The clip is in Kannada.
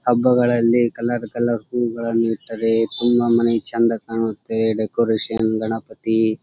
ಹಬ್ಬಗಳಲ್ಲಿ ಕಲರ್ ಕಲರ್ ಹೂಗಳನ್ನು ಇಟ್ಟರೆ ತುಂಬಾ ಮನೆ ಚಂದ ಕಾಣುತ್ತೆ ಡೆಕೋರೇಷನ್ ಗಣಪತಿ--